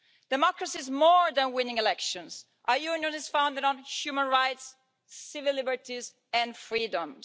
Democracy is more than winning elections. Our union is founded on human rights, civil liberties and freedoms.